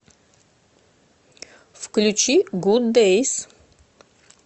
включи гуд дэйс